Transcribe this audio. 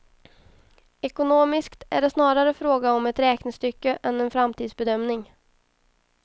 Ekonomiskt är det snarare fråga om ett räknestycke än en framtidsbedömning.